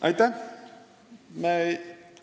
Aitäh!